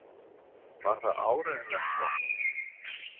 Var það áreiðanlega gott?